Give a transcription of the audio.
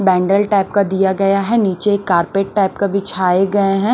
बैंडल type का दिया गया है नीचे एक कारपेट टाइप का बिछाए गए हैं।